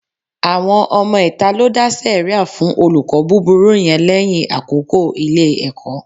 Àwọn ọmọ ìta ló dá sẹ̀ríà fún olùkọ́ búburú yẹn lẹ́yìn àkókò Ilé-ẹ̀kọ́